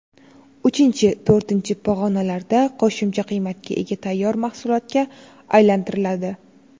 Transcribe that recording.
Uchinchi, to‘rtinchi pog‘onalarda qo‘shimcha qiymatga ega tayyor mahsulotga aylantiriladi.